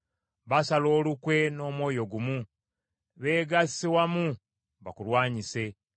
Basala olukwe n’omwoyo gumu; beegasse wamu bakulwanyise.